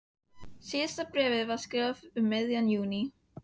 Síðasta bréfið var skrifað um miðjan júní.